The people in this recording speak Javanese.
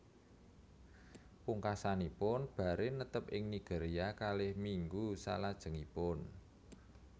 Pungkasanipun Barre netep ing Nigeria kalih minggu salajengipun